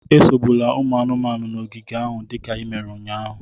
Esogbula ụmụ anụmanụ nọ n'ogige ahụ dịka i mere ụnyahụ